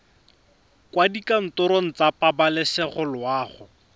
kwa dikantorong tsa pabalesego loago